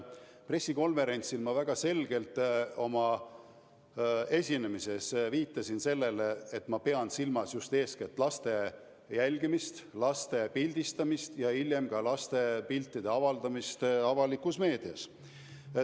Pressikonverentsil ma viitasin oma esinemises väga selgelt, et ma pean silmas just eeskätt laste jälgimist, laste pildistamist ja hiljem laste piltide avaldamist avalikus meedias.